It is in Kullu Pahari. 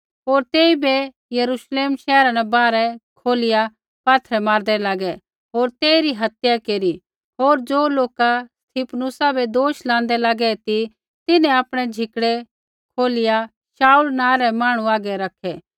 होर तेइबै यरूश्लेम शैहरा न बाहरै कौढिआ पात्थरै मारदै लागै होर तेइरी हत्या केरी होर ज़ो लोका स्तिफनुसा बै दोष लाँदै लागै ती तिन्हैं आपणै झिकड़ै कौढिआ शाऊल नाँ रै मांहणु हागै रखै